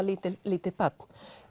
lítið lítið barn